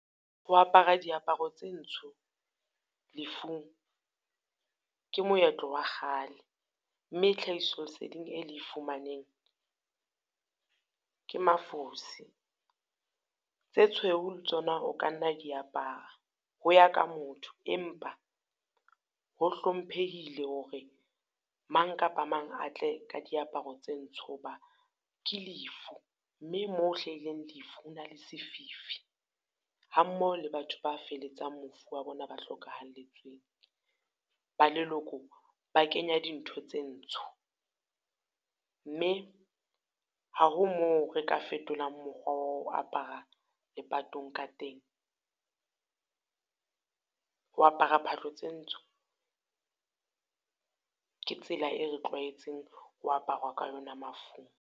Ho apara diaparo tse ntsho lefung, ke moetlo wa kgale. Mme tlhahiso leseding e le e fumaneng ke mafosi. Tse tshweu le tsona o ka nna wa di apara, ho ya ka motho empa ho hlomphehile hore mang kapa mang a tle ka diaparo tse ntsho ho ba ke lefu, mme mo hlahileng lefu ho na le sefifi. Ha mmoho le batho ba feletsang mofu wa bona ba hlokahalletsweng, ba ba leloko ba kenya dintho tse ntsho. Mme ha ho moo re ka fetolang mokgwa wa ho apara lepatong ka teng. Ho apara phahlo tsa ntsko, ke tsela e re tlwaetseng ho aparwa ka yona mafung.